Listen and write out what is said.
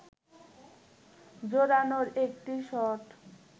জোরালো একটি শট